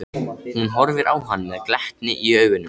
Hún horfir á hann með glettni í augunum.